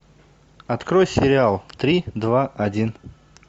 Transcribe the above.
открой сериал три два один